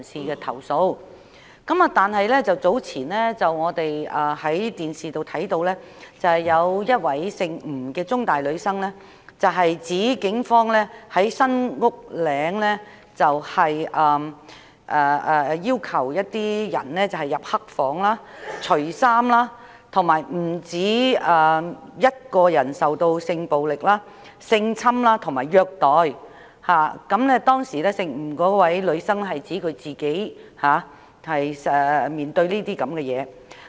然而，早前我們從電視看到，有1位香港中文大學的吳姓女生指警方在新屋嶺拘留中心要求一些被捕人士進入"黑房"脫衣，並有不止1人曾受到性暴力、性侵及虐待，當時吳姓女生指她本人也曾面對這些情況。